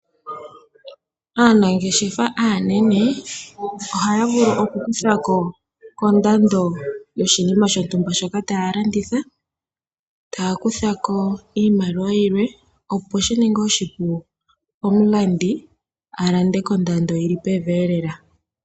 Aanangeshefa aanene ohaya vulu oku kutha ko kondando yoshinima shontumba shoka taya landitha taya kutha ko iimaliwa yilwe opo shininge oshipu komulandi a lande kondando yili pevi elela.